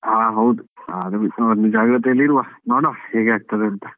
ಹಾ ಹೌದು ಅದು ಬಿಟ್ಟು ನಾವು ಜಾಗೃತಿಯಲ್ಲಿರುವ, ನೋಡುವ ಹೇಗೆ ಆಗ್ತದೆ ಅಂತ.